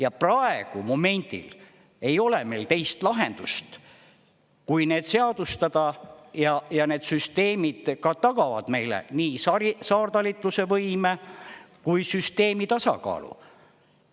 Ja praegu momendil ei ole meil teist lahendust, kui need seadustada, ja need süsteemid ka tagavad meile nii saartalituse võime kui süsteemi tasakaalu.